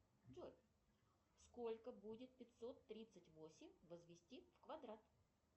джой сколько будет пятьсот тридцать восемь возвести в квадрат